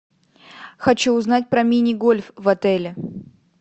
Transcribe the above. хочу узнать про мини гольф в отеле